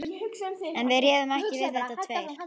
En við réðum ekki við þetta tveir.